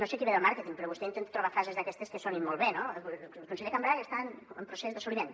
no sé qui ve del màrqueting però vostè intenta trobar frases d’aquestes que sonin molt bé no el conseller cambray està en procés d’assoliment